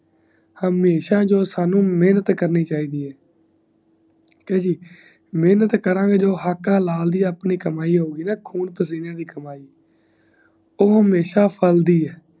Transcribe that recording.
ਹਮੇਸ਼ਾ ਜੋ ਸਾਨੂ ਮੇਹਨਤ ਕਰਨੀ ਚਾਹੀਦੀ ਮੈਂਟ ਕਰੂਂਗੇ ਜੇ ਤਾ ਹਕ਼ ਹਲਾਲ ਦੀ ਕਮੀ ਹੋਊਂਗੀ ਖੂਨ ਪਸੀਨੇ ਦੀ ਕਮਾਇ ਊ ਹਮੇਸ਼ਾ ਫੈਲਦੀ ਈ